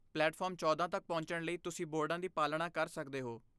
platform ਚੌਦਾਂ ਤੱਕ ਪਹੁੰਚਣ ਲਈ ਤੁਸੀਂ ਬੋਰਡਾਂ ਦੀ ਪਾਲਣਾ ਕਰ ਸਕਦੇ ਹੋ